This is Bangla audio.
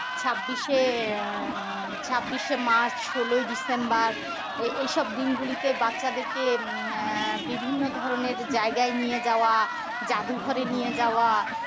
ছাব্বিশ এ আহ ছাব্বিশ এ march সোলই december এইসব দিনগুলিতে বাচ্চাদেরকে উম আহ বিভিন্ন ধরনের জায়গায় নিয়ে যাওয়া জাদুঘরে নিয়ে যাওয়া